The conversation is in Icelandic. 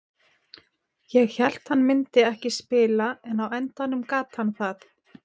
Ég hélt að hann myndi ekki spila en á endanum gat hann það.